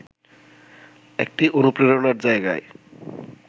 একটি অনুপ্রেরণার জায়গায়